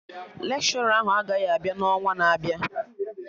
Lekshọra ahụ agaghị abịa na ọnwa na-abịa